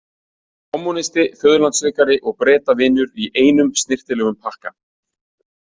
Kommúnisti, föðurlandssvikari og Bretavinur í einum snyrtilegum pakka.